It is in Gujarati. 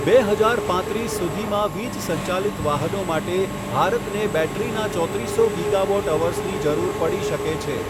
બે હજાર પાંત્રીસ સુધીમાં વીજ સંચાલિત વાહનો માટે ભારતને બૅટરીના ચોત્રીસસો ગીગાવૉટ અવર્સની જરૂર પડી શકે છે.